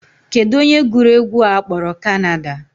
Kedụ onye gụrụ egwu a a kpọrọ Canada?